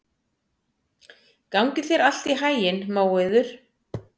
Gangi þér allt í haginn, Móeiður.